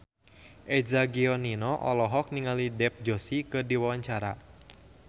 Eza Gionino olohok ningali Dev Joshi keur diwawancara